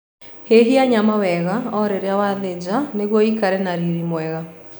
Hehia nyama wega o rĩrĩ wathĩnja nĩguo ĩikare na riri mwega